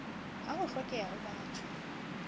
ha ho hlokeha ho batho